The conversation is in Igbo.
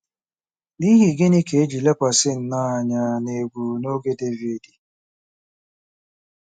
N’ihi gịnị ka e ji lekwasị nnọọ anya n’egwú n’oge Devid?